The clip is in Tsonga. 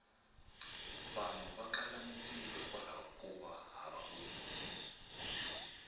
vanhu va kala mintirho hikwlaho kova hava vutivi